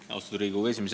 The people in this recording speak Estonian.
Austatud Riigikogu esimees!